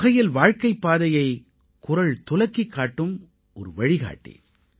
ஒருவகையில் வாழ்க்கைப் பாதையைக் குறள் துலக்கிக் காட்டும் ஒரு வழிகாட்டி